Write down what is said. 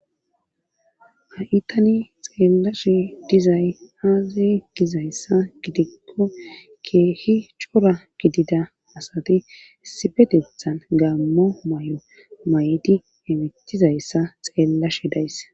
Ha'i tani xeellashi dizay haazay gizayssa gidikko keehi cora gidida asati sifedethan gaammo may7o may7di emithizayssa xeella shidays